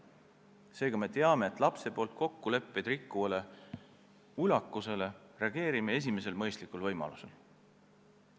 Seega me teame, et sellisele ulakusele, kui laps on kokkuleppeid rikkunud, tuleb reageerida esimesel mõistlikul võimalusel.